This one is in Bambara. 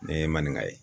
Ne ye maninka ye